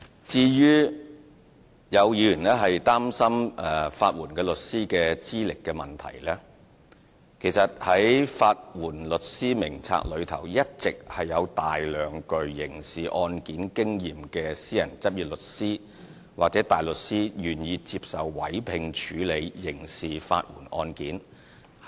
至於有議員擔心法援律師的資歷問題，其實在"法援律師名冊"上一直有大量具刑事案件經驗的私人執業律師或大律師，願意接受委聘處理刑事法援案件。